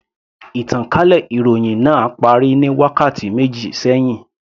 Ìtànkálẹ̀ ìròhìn náà parí ní wákàtí méjì sẹ́hìn.